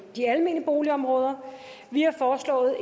de almene boligområder vi har foreslået